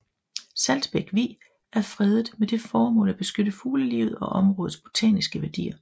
Saltbæk Vig er fredet med det formål at beskytte fuglelivet og områdets botaniske værdier